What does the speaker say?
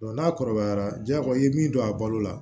n'a kɔrɔbayara jago i ye min don a balo la